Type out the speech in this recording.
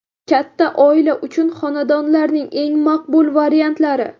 Katta oila uchun xonadonlarning eng maqbul variantlari.